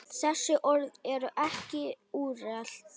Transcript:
Þessi orð eru ekki úrelt.